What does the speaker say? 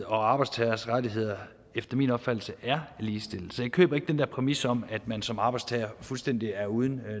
og arbejdstagers rettigheder efter min opfattelse er ligestillede så jeg køber ikke den der præmis om at man som arbejdstager fuldstændig er uden